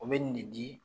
O bɛ nin de di